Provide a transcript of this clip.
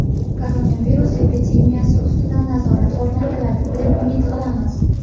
Koronavirus epidemiyasi ustidan nazorat o‘rnatiladi deb umid qilamiz.